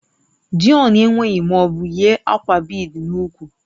Deon enweghị ma ọ bụ yi akwa bead n'úkwù